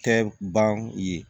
Tɛ ban ye